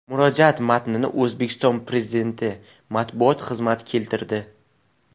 Murojaat matnini O‘zbekiston Prezidenti matbuot xizmati keltirdi .